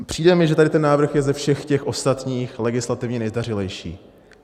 Přijde mi, že tady ten návrh je ze všech těch ostatních legislativně nejzdařilejší.